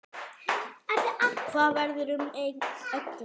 Hvað verður um eggin?